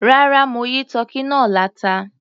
Rárá, mo yí tọ́kì náà láta.